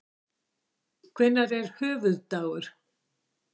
Hvenær er höfuðdagur?